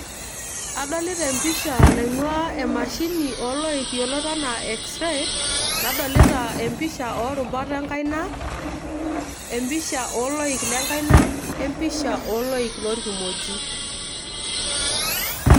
adolita empisha naing'ua emashini ooloik yiolot enaa x-ray nadolita empisha oorubat enkaina, empisha oloik lenkaina o empisha oloik loorkimoji.